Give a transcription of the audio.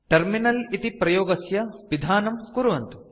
terminal इति प्रयोगस्य पिधानं कुर्वन्तु